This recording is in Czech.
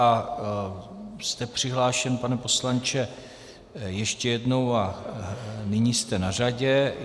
A jste přihlášen, pane poslanče, ještě jednou a nyní jste na řadě.